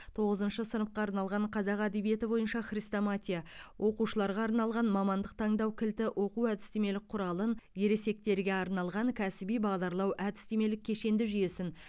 тоғызыншы сыныпқа арналған қазақ әдебиеті бойынша хрестоматия оқушыларға арналған мамандық таңдау кілті оқу әдістемелік құралын ересектерге арналған кәсіби бағдарлау әдістемелік кешенді жүйесін